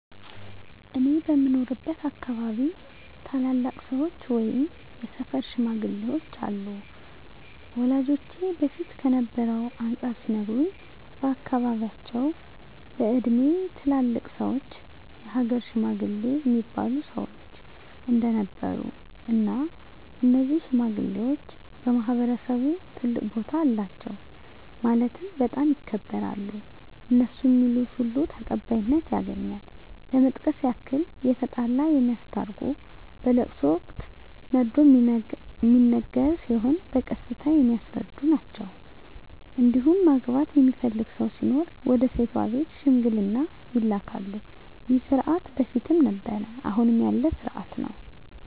እኔ በምኖርበት አካባቢ ታላላቅ ሰዎች ወይም የሰፈር ሽማግሌዎች አሉ ወላጆቼ በፊት ከነበረው አንፃር ሲነግሩኝ በአካባቢያቸው በእድሜ ትላልቅ ሰዎች የሀገር ሽማግሌ እሚባሉ ሰዎች እንደነበሩ እና እነዚህ ሽማግሌዎች በማህበረሰቡ ትልቅ ቦታ አላቸው ማለትም በጣም ይከበራሉ እነሡ ሚሉት ሁሉ ተቀባይነት ያገኛል ለመጥቀስ ያክል የተጣላ የሚያስታርቁ በለቅሶ ወቅት መርዶ ሚነገር ሲሆን በቀስታ የሚያስረዱ ናቸዉ እንዲሁም ማግባት የሚፈልግ ሰው ሲኖር ወደ ሴቷ ቤተሰብ ሽምግልና ይላካሉ ይህ ስርዓት በፊትም ነበረ አሁንም ያለ ስርአት ነው።